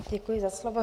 Děkuji za slovo.